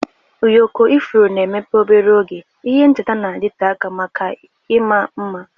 Ụyọkọ ifuru na-emepe obere oge, ihe ncheta na-adịte aka maka ịma mma.